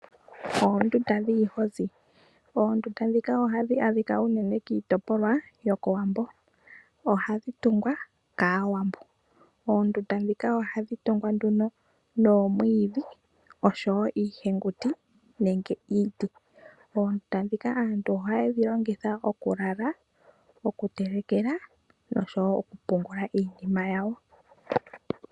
Oondunda dhiihozi ohadhi adhika unene kiitopolwa yo kOwambo, ohadhi tungwa kAawambo. Oondunda dhika ohadhi tungwa nduno noomwiidhi oshowo iihenguti nenge iiti. Ondunda dhika aantu ohaye dhi longitha okulala, okutelekela noshowo okupungula iinima yawo.